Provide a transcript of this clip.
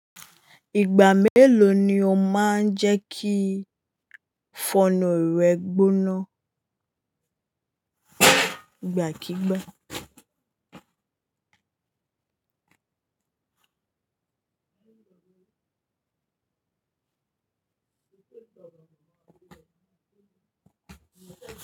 Ìgbà mélòó ni o máa ń jẹ́ kí fọnu rẹ gbóná? Ìgbàkígbà.